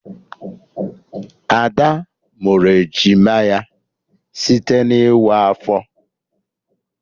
Ada mụrụ ejima ya site na ịwa afọ